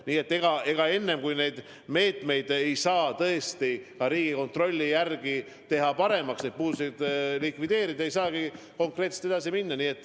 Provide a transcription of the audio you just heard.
Nii et enne, kui need meetmed ei ole ka Riigikontrolli hinnagul tehtud paremaks, kui need puudused pole likvideeritud, ei saa konkreetselt edasi minna.